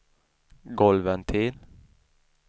golvventil